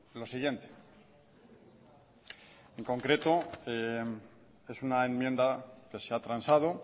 lo siguiente en concreto es una enmienda que se ha transado